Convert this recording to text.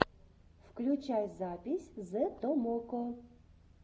включай запись зэ томоко